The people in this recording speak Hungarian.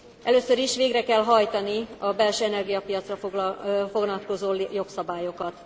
Először is végre kell hajtani a belső energiapiacra vonatkozó jogszabályokat.